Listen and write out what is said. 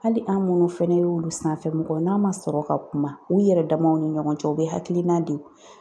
Hali an minnu fɛnɛ y'ulu sanfɛ mɔgɔw ye, n'a ma sɔrɔ ka kuma, u yɛrɛ damaw ni ɲɔgɔn cɛ, u bɛ hakilina di